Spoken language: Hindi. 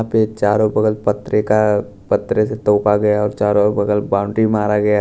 यहां पे चारो बगल पत्रे का पत्रे से तोपा गया है और चारों बगल बाउंड्री मारा गया --